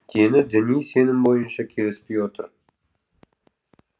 дені діни сенім бойынша келіспей оты